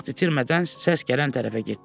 Vaxt itirmədən səs gələn tərəfə getdi.